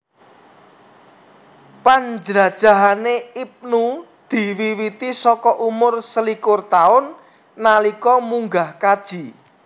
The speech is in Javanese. Panjlajahané Ibnu diwiwiti saka umur selikur taun nalika munggah kaji